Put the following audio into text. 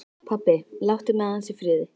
Pabbi, láttu mig aðeins í friði.